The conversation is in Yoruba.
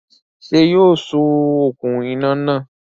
Sé yóò so okùn iná náà